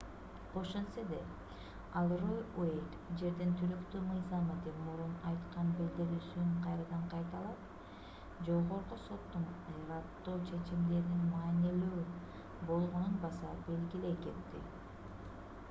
ошентсе да ал роу уэйд жердин туруктуу мыйзамы деп мурун айткан билдирүүсүн кайрадан кайталап жогорку соттун ырааттуу чечимдеринин маанилүү болгонун баса белгилей кетти